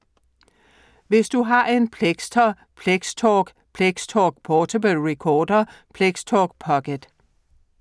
Hvis du har en Plextor Plextalk/Plextalk Portable Recorder/ Plextalk Pocket: